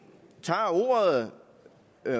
tager ordet